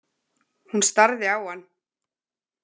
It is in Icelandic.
Hún starði á hann.